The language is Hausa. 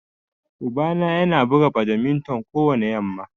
Uba na Yana buga badminton kowani yamma.